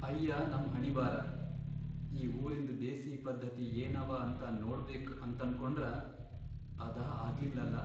ಅಯ್ಯಾ ನಮ್ ಹಣೀಬಾರ! ಈ ಊರಿನ್ದ್ ದೇಸೀ ಪದ್ಧತಿ ಏನವ ಅಂತ ನೋಡ್ಬೇಕ್ ಅಂತನ್ಕೊಂಡ್ರ ಅದಾ ಆಗ್ಲಿಲ್ಲಲಾ.